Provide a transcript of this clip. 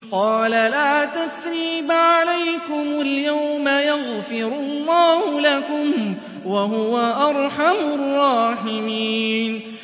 قَالَ لَا تَثْرِيبَ عَلَيْكُمُ الْيَوْمَ ۖ يَغْفِرُ اللَّهُ لَكُمْ ۖ وَهُوَ أَرْحَمُ الرَّاحِمِينَ